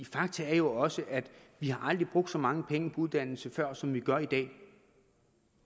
fakta er også at vi aldrig har brugt så mange penge på uddannelse før som vi gør i dag